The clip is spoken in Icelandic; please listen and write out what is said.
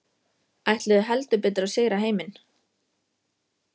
Ætluðu heldur betur að sigra heiminn.